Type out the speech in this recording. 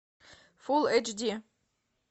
фулл эйч ди